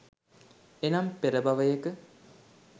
එනම්, පෙර භවයක